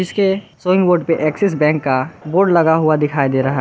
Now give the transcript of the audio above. उसके बोर्ड पे Axis bank का बोर्ड लगा हुआ दिखाई दे रहा--